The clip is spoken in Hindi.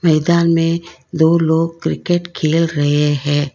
मैदान में दो लोग क्रिकेट खेल रहे हैं।